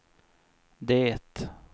det